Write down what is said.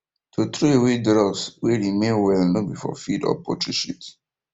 to throw away drugs way remain well no be for feed or poultry shit